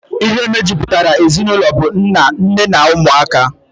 Ihe mejupụtara ezinụlọ bu nna, nne na ụmụaka.